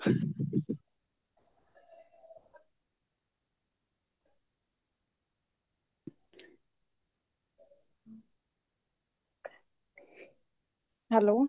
hello